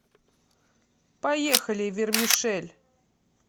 поехали вермишель